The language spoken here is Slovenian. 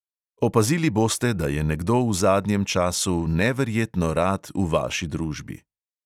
Opazili boste, da je nekdo v zadnjem času neverjetno rad v vaši družbi.